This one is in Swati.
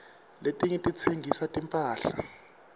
letinye titsengisa timphahla